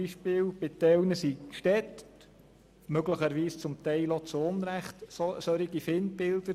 Bei manchen sind die Städte – möglicherweise auch zu Unrecht – solche Feindbilder.